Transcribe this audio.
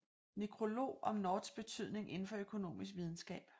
Nekrolog om Norths betydning indenfor økonomisk videnskab